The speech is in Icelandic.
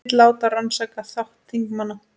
Vill láta rannsaka þátt þingmanna